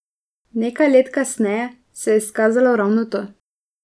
Nekaj let kasneje se je izkazalo ravno to.